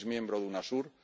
es miembro de Unasur